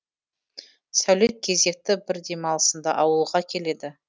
сәулет кезекті бір демалысында ауылға келеді